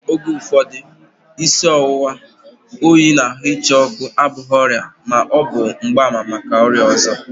Oge ụfọdụ, isi ọwụwa, oyi na ahụ ịcha ọkụ abụghị ọrịa kama ọ bụ mgbaàmà maka ọrịa ọzọ